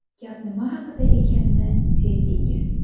Gap nima haqida ekanini sezdingiz.